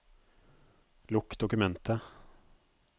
Lukk dokumentet